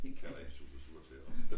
Jeg kalder hende Sussser sure tæer